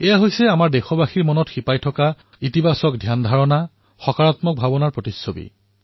এয়া আমাৰ দেশবাসীৰ মনত উদ্ৰেক হোৱা ধনাত্মক প্ৰভাৱৰ ফল সকাৰাত্মক ভাৱনা এক চমক